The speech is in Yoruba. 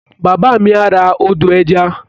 Bàbá mi á ra ọdọ̀-ẹja